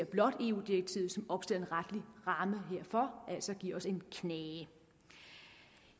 blot eu direktivet som opstiller en retlig ramme herfor altså giver os en knage